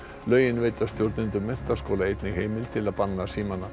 lögin veita stjórnendum menntaskóla einnig heimild til að banna símana